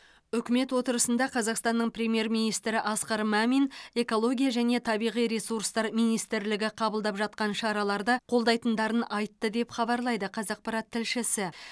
үкімет отырысында қазақстанның премьер министрі асқар мамин экология және табиғи ресурстар министрлігі қабылдап жатқан шараларды қолдайтындарын айтты деп хабарлайды қазақпарат тілшісі